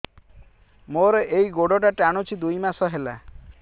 ମୋର ଏଇ ଗୋଡ଼ଟା ଟାଣୁଛି ଦୁଇ ମାସ ହେଲା